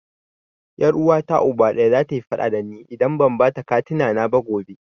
Ƴar Uwata Uba ɗaya, zata yi faɗa da ni idan ban bata katina na ba gobe.